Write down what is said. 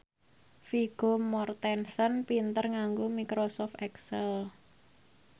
Vigo Mortensen pinter nganggo microsoft excel